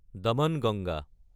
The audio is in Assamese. দামানগংগা